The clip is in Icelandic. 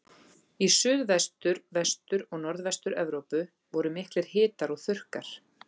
Í Suðvestur-, Vestur- og Norðvestur-Evrópu voru miklir hitar og þurrkar.